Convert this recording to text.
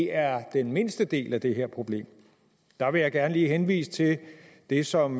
er den mindste del af det her problem der vil jeg gerne lige henvise til det som